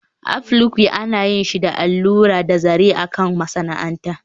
Applique ana yin shi da allura da zaren a kan masana'anta